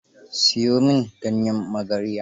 Siyo min ganyen magarya.